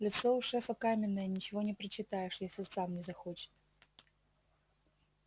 лицо у шефа каменное ничего не прочитаешь если сам не захочет